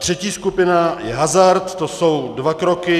Třetí skupina je hazard, to jsou dva kroky.